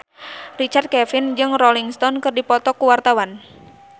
Richard Kevin jeung Rolling Stone keur dipoto ku wartawan